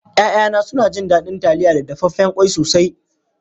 Ya'yana suna jin daɗin taliya da dafaffen ƙwai sosai.